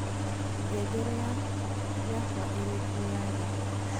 ngengere yakwaĩkĩrĩtwo ya rii